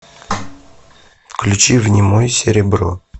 включи внемой серебро